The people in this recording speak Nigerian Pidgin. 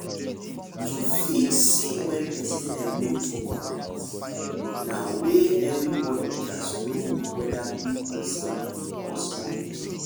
to fit see wen person head no too correct na weyth every body gats know weda big person or small pikin